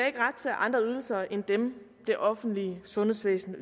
ikke ret til andre ydelser end dem det offentlige sundhedsvæsen